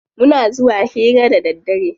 Muna zuwa hira da daddare.